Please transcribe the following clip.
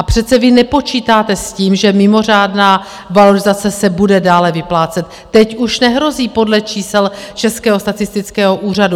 A přece vy nepočítáte s tím, že mimořádná valorizace se bude dále vyplácet, teď už nehrozí podle čísel Českého statistického úřadu.